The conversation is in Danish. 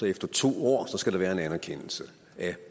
efter to år skal der være en anerkendelse af